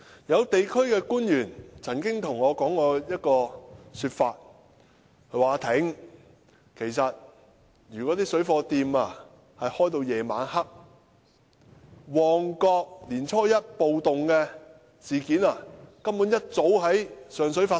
有地區官員曾對我說："'阿廷'，如果水貨店營業至晚上，旺角年初一的暴動事件，一早便已經在上水發生"。